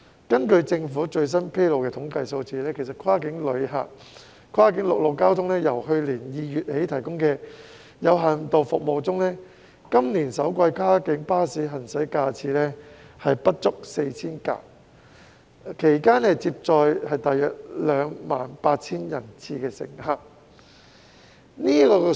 根據政府最新披露的統計數字，跨境陸路交通由去年2月起提供的有限度服務中，今年首季跨境巴士的行駛架次不足 4,000 輛，其間接載約 28,000 人次乘客。